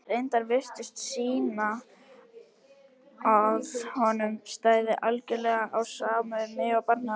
reyndirnar virtust sýna að honum stæði algjörlega á sama um mig og barnið okkar.